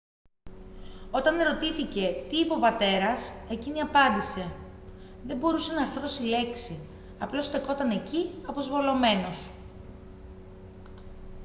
όταν ερωτήθηκε τι είπε ο πατέρας εκείνη απάντησε «δεν μπορούσε να αρθρώσει λέξη - απλώς στεκόταν εκεί αποσβολωμένος»